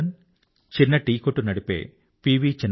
మురళీధరన్ చిన్న టీ కొట్టు నడిపే పి